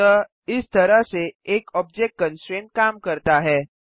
अतः इस तरह से एक ऑब्जेक्ट कंस्ट्रेंट काम करता है